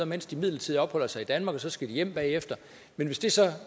mens de midlertidigt opholder sig i danmark og så skal hjem bagefter men hvis det så